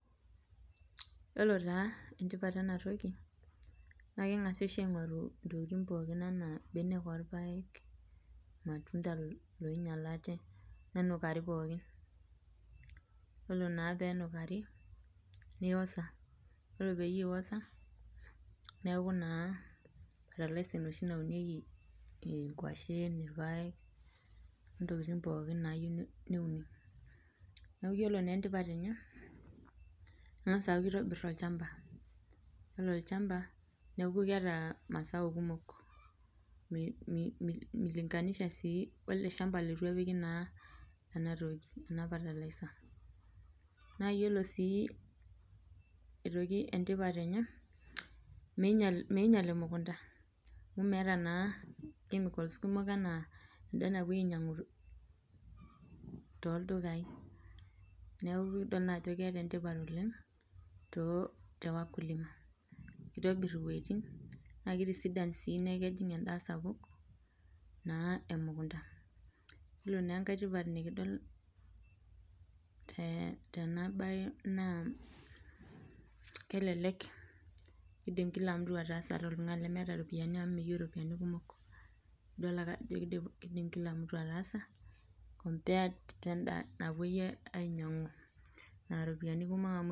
Yiolo taa entipat ena toki ,naa kebagasi oshi aingoru intokiting pookin anaa mbenek orpaek, ormatunda oinyalate nenukari pookin, yiolo pee enukari neosa ,ore pee eiosa neeku naa fertilizer enoshi nauniekei ikwashen, irpaek ,intokiting pookin naayieu neuni. neeku yiolo naa entipat enye kengas aitobir olchampa ,yiolo olchampa neeku keeta masao kumok milinkanisha welde shampa leitu epiki ena fertilizer[ naa yiolo sii aitoki entipat enye meinyala emunkunta amu meeta naa chemicals kumok anaa enda napoi ainyangu tooldukai neeku naaa kidol ajo keeta entipat oleng tewakulima. kitobir iwejitin naa keitisidan sii neeku kejing enda sapuk naa emukunda. yiolo naa enkae tipat nikidol naa kelelek keidim Kila mtu ataasa ata oltungani lemeeta ropiyiani amu meyieu irpoyiani kumok .idol ake ajo keidim kila mtu ataasa compared wendaa napoi ainyangu oropiyiani kumok.